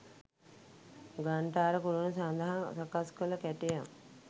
ඝණ්ඨාර කුළුණ සඳහා සකස් කළ කැටයම්